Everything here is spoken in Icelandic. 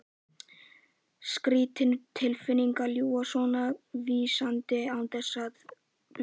Skrýtin tilfinning að ljúga svona vísvitandi án þess að blikna.